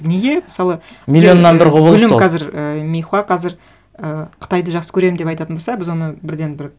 неге мысалы миллионнан бір құбылыс ол гүлім қазір і мейхуа қазір і қытайды жақсы көремін деп айтатын болса біз оны бірден бір